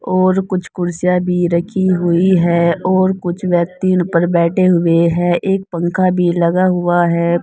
और कुछ कुर्सियां भी रखी हुई है और कुछ व्यक्ति उन पर बैठे हुए हैं एक पंखा भी लगा हुआ है।